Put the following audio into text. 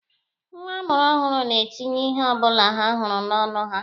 Nwa a mụrụ ọhụrụ na-etinye ihe ọbụla ha hụrụ n'ọnụ ha.